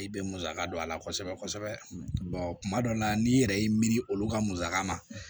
I bɛ musaka don a la kosɛbɛ kosɛbɛ kuma dɔ la n'i yɛrɛ y'i miiri olu ka musaka ma